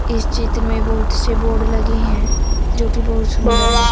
इस चित्र में बहुत से बोर्ड लगे हैं जोकि बहुत सुंदर है।